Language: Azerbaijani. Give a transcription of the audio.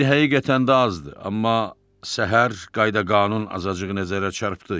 İndi həqiqətən də azdır, amma səhər qayda-qanun azacıq nəzərə çarpdı.